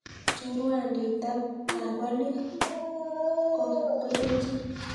Choruandit ab olik kokelchin